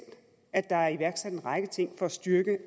at der er iværksat en række ting for at styrke